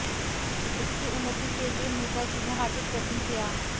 उसकी उन्नति के लिये मेहता जी ने हार्दिक प्रयत्न किया